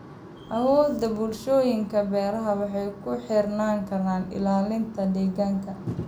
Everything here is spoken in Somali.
Awoodda bulshooyinka beeraha waxay ku xirnaan kartaa ilaalinta deegaanka.